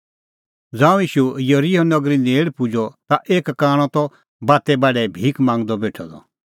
ज़ांऊं ईशू येरिहो नगरी नेल़ पुजअ ता एक कांणअ त बाते बाढै भिख मांगदअ बेठअ द